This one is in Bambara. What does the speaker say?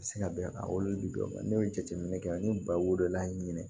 Se ka bɛn ka wolodiman ne ye jateminɛ kɛ n ye ba wolola ɲini